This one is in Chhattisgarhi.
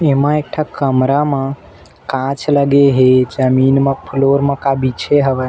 एमा एक ठक कमरा मा कांच लगे हे जमीन म फ्लोर म का बिछे हवय।